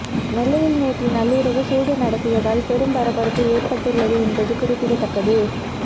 நெல்லையில் நேற்று நள்ளிரவு சூடு நடத்தியதால் பெரும் பரபரப்பு ஏற்பட்டு உள்ளது என்பது குறிப்பிடத்தக்கது